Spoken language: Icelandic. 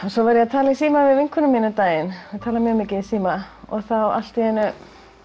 svo var ég að tala í síma við vinkonu mína um daginn ég tala mjög mikið í síma og þá allt í einu